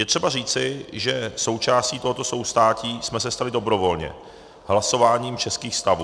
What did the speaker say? Je třeba říci, že součástí tohoto soustátí jsme se stali dobrovolně hlasováním českých stavů.